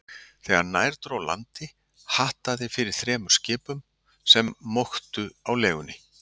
Þegar nær dró landi, hattaði fyrir þremur skipum, sem móktu á legunni.